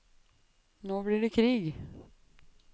Nå blir det krig.